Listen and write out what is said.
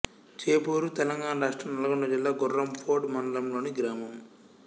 చేపూరు తెలంగాణ రాష్ట్రం నల్గొండ జిల్లా గుర్రంపోడ్ మండలంలోని గ్రామం